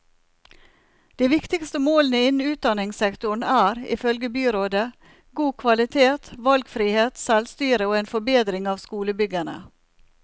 De viktigste målene innen utdannelsessektoren er, ifølge byrådet, god kvalitet, valgfrihet, selvstyre og en forbedring av skolebyggene.